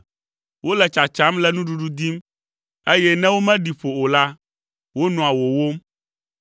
Wole tsatsam le nuɖuɖu dim, eye ne womeɖi ƒo o la, wonɔa wòwóm.